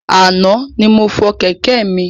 Ana ni mo fọ Kẹ̀kẹ́ mi